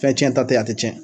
Fɛn tiɲɛta tɛ a tɛ tiɲɛ